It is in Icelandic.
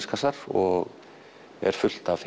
og er fullt af